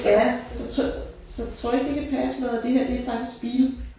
Ja så tror så tror du ikke det kan passe med at det her det er faktisk bil